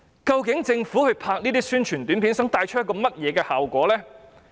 究竟政府拍攝這些宣傳短片想帶出甚麼效果？